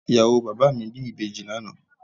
Ìyàwó bàbá mi bí ìbejì lánàá